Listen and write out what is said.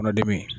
Kɔnɔdimi